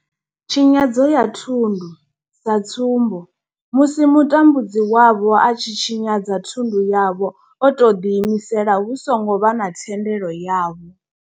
Tshinyadzo ya thundu sa tsumbo, musi mutambudzi wavho a tshi tshinyadza thundu yavho o tou ḓi imisela hu songo vha na thendelo yavho.